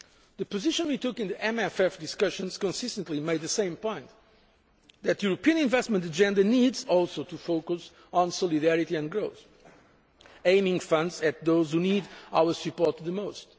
The position we took in the MFF discussions consistently made the same point that the European investment agenda needs also to focus on solidarity and growth, aiming funds at those who need our support the most.